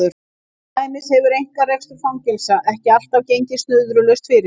Til dæmis hefur einkarekstur fangelsa ekki alltaf gengið snurðulaust fyrir sig.